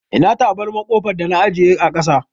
Ina tabarmar ƙofar da na ajiye a ƙasa.